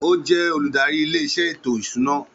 Ó jẹ́ olùdarí ilé-iṣẹ́ ètò ìṣúná